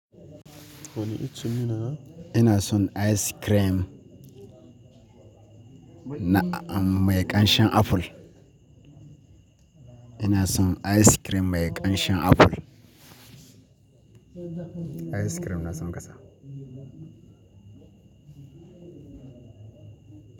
Wani icce ina? Ina son ice cream mai ƙanshen aful. Ina son ice cream mai ƙanshen aful. Ice cream na sun kasa.